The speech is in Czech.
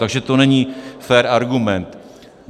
Takže to není fér argument.